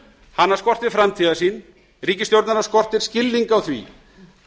hana skortir framtíðarsýn ríkisstjórnina skortir skilning á því